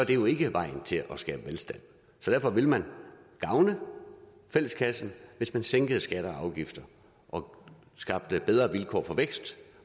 jo ikke vejen til at skabe velstand derfor ville man gavne fælleskassen hvis man sænkede skatter og afgifter og skabte bedre vilkår for vækst